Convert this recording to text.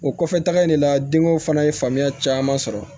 O kɔfɛ taga in de la denko fana ye faamuyaya caman sɔrɔ